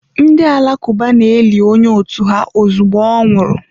Ndị Alakụba na-eli onye otu ha ozugbo ọ nwụsịrị.